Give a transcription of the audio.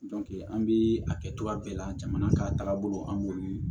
an bi a kɛ cogoya bɛɛ la jamana ka taaga bolo an b'olu ye